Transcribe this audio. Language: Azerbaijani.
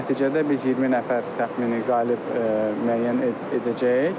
Nəticədə biz 20 nəfər təxmini qalib müəyyən edəcəyik.